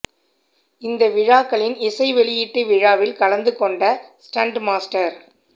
இந்த விழாக்களின் இசை வெளியீட்டு விழாவில் கலந்து கொண்ட ஸ்டன்ட் மாஸ்டர்